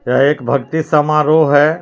यह एक भक्ति समारोह है।